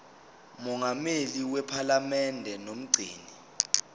mongameli wephalamende nomgcini